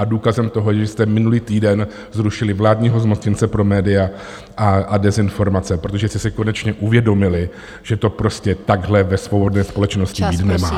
A důkazem toho, že jste minulý týden zrušili vládního zmocněnce pro média a dezinformace, protože jste si konečně uvědomili, že to prostě takhle ve svobodné společnosti být nemá.